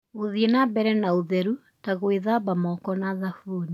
Gũthiĩ na mbere na ũtheru, ta gwĩthamba moko na thabuni.